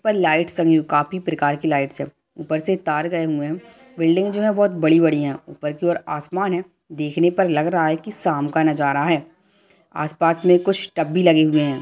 ऊपर लाइट लगी हुई है काफी प्रकार की लाइट है ऊपर से तार गई हुए हैं | बिल्डिंग जो है बहुत बड़ी बड़ी है ऊपर की और आसमान है देखने पर लग रहा है की शाम का नजारा है | आस पास में कुछ टब भी लगे हुए है।